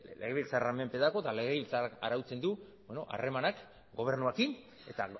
legebiltzarraren menpe dago eta legebiltzarrak arautzen du harremanak gobernuarekin eta